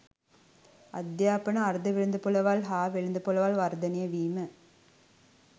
අධ්‍යාපන අර්ධවෙළඳපොළවල් හා වෙළඳපොළවල් වර්ධනය වීම